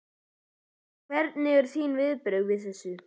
Hver eru þín viðbrögð við þessu?